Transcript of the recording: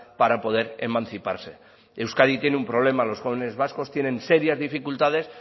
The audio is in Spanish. para poder emanciparse euskadi tiene un problema los jóvenes vascos tienen serias dificultades